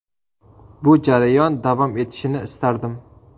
Bu jarayon davom etishini istardim.